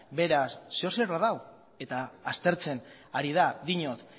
zer edo zer badago eta aztertzen ari da diot